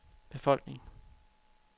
befolkning